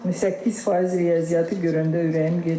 18% riyaziyyatı görəndə ürəyim gedir.